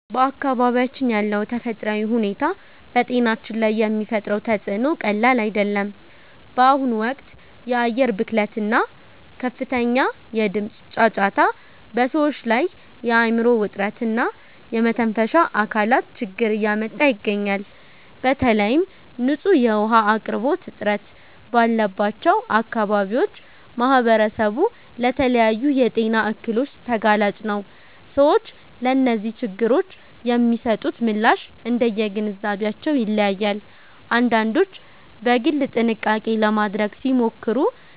በአካባቢያችን ያለው ተፈጥሯዊ ሁኔታ በጤናችን ላይ የሚፈጥረው ተፅዕኖ ቀላል አይደለም። በአሁኑ ወቅት የአየር ብክለት እና ከፍተኛ የድምፅ ጫጫታ በሰዎች ላይ የአእምሮ ውጥረት እና የመተንፈሻ አካላት ችግር እያመጣ ይገኛል። በተለይም ንጹህ የውኃ አቅርቦት እጥረት ባለባቸው አካባቢዎች ማኅበረሰቡ ለተለያዩ የጤና እክሎች ተጋላጭ ነው። ሰዎች ለእነዚህ ችግሮች የሚሰጡት ምላሽ እንደየግንዛቤያቸው ይለያያል፤ አንዳንዶች በግል ጥንቃቄ ለማድረግ ሲሞክሩ፣